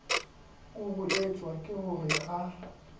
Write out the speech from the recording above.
kuruetswa ke ho re a